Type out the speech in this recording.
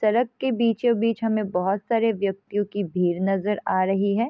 सड़क के बीचों-बीच हमें बहुत सारे व्यक्तियों की भीड़ नजर आ रही है।